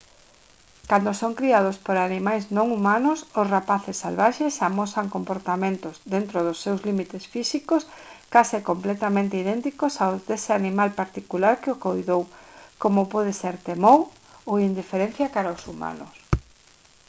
cando son criados por animais non humanos os rapaces salvaxes amosan comportamentos dentro dos seus límites físicos case completamente idénticos aos dese animal particular que o coidou como pode ser temor ou indiferenza cara aos humanos